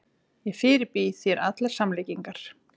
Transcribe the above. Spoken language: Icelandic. Ég fyrirbýð þér allar samlíkingar.